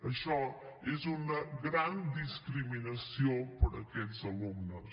això és una gran discriminació per a aquests alumnes